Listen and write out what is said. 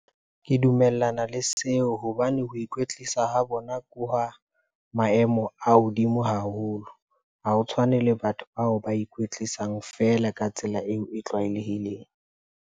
Ke dumellana le seo hobane ho ikwetlisa ho bona ke hwa maemo a hodimo haholo. Ha ho tshwane le batho bao ba ikwetlisang feela ka tsela eo e tlwaelehileng.